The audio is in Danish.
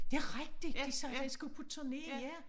Det rigtigt de sagde den skulle på turné ja